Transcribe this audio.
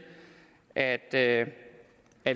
at et